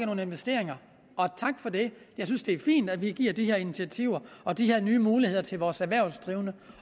nogle investeringer og tak for det jeg synes det er fint at vi giver de her initiativer og de her nye muligheder til vores erhvervsdrivende